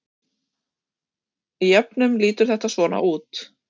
Í jöfnum lítur þetta svona út: